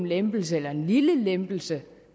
lempelse eller en lille lempelse